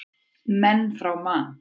Menn frá Man.